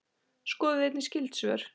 Skoðið einnig skyld svör